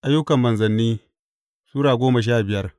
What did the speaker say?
Ayyukan Manzanni Sura goma sha biyar